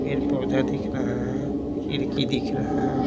पेड़ पौधा दिख रहा है खिड़की दिख रहा है।